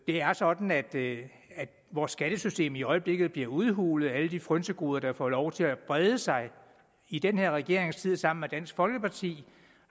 er sådan at vores skattesystem i øjeblikket bliver udhulet af alle de frynsegoder der får lov til at brede sig i den her regerings tid sammen med dansk folkeparti